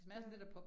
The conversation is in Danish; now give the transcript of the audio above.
Ja